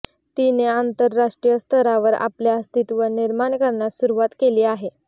तिने आंतरराष्ट्रीय स्तरावर आपले अस्तित्व निर्माण करण्यास सुरुवात केली आहे